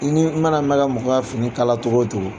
I ni i mana mɛn ka mɔgɔ ka fini kala cogo o cogo.